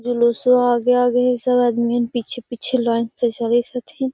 जुलुस्वा आगे आगे हई सब आदमियन पीछे पीछे लाइन से चलीत हथीन |